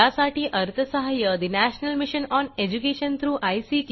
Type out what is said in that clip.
यासाठी अर्थसहाय्य national mission on education through I